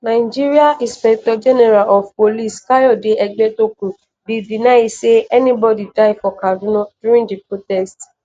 nigeria inspector general of police kayode egbetokun bin deny say anybodi die for kaduna during di protest.